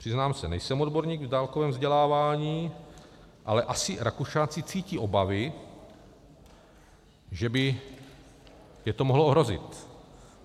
Přiznám se, nejsem odborník v dálkovém vzdělávání, ale asi Rakušáci cítí obavy, že by je to mohlo ohrozit.